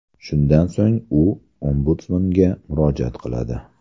Shundan so‘ng u Ombudsmanga murojaat qiladi.